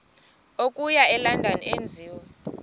okuya elondon enziwe